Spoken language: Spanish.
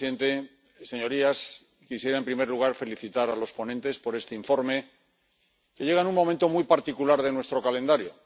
Señor presidente, señorías. Quisiera, en primer lugar, felicitar a los ponentes por este informe, que llega en un momento muy particular de nuestro calendario.